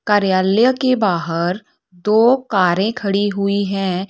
कार्यालय के बाहर दो कारे खड़ी हुई है।